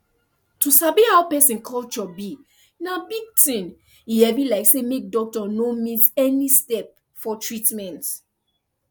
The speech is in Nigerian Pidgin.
to sabi how person culture be na big thing e heavy like say make doctor no miss any step for treatment